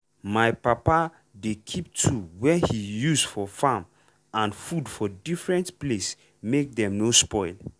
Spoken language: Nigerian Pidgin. my papa dey keep tool wey he use for farm and food for different place make dem no spoil.